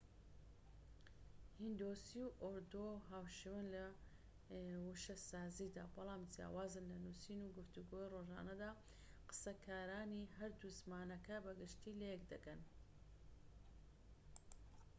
هیندۆسی و ئوردو هاوشێوەن لە وشەسازیدا بەڵام جیاوازن لە نوسین و گفتوگۆی ڕۆژانەدا قسەکارانی هەردوو زمانەکە بە گشتیی لەیەك دەگەن